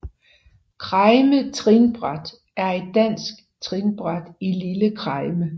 Kregme Trinbræt er et dansk trinbræt i Lille Kregme